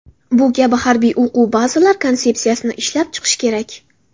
Bu kabi harbiy o‘quv bazalar konsepsiyasini ishlab chiqish kerak.